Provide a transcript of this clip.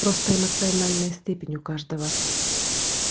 просто эмоциональная степень у каждого